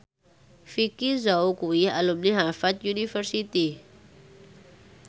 Vicki Zao kuwi alumni Harvard university